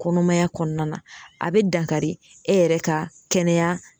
Kɔnɔmaya kɔnɔna a be dankari e yɛrɛ ka kɛnɛya